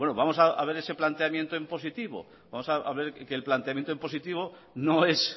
vamos a ver ese planteamiento en positivo vamos a ver que el planteamiento en positivo no es